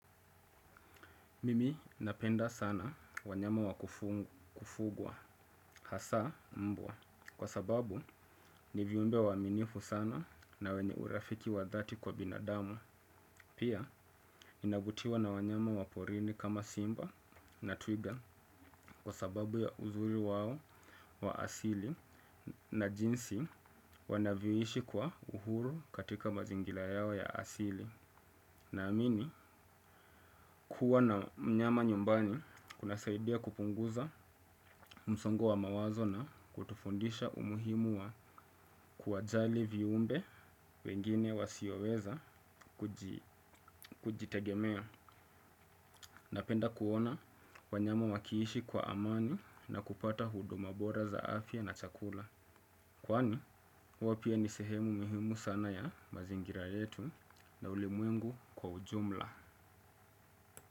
Mimi napenda sana wanyama wakufugwa hasa mbwa kwa sababu ni viumbe waminifu sana na wenye urafiki wa dhati kwa binadamu. Pia, nina vutiwa na wanyama waporini kama simba na twiga kwa sababu ya uzuri wao wa asili na jinsi wanavyo ishi kwa uhuru katika mazingira yao ya asili. Na amini, kuwa na mnyama nyumbani kuna saidia kupunguza msongo wa mawazo na kutufundisha umuhimu wa kuwajali viumbe wengine wasioweza kujitegemea. Napenda kuona wanyama wakiishi kwa amani na kupata huduma bora za afya na chakula. Kwani, hao pia ni sehemu muhimu sana ya mazingira yetu na ulimwengu kwa ujumla.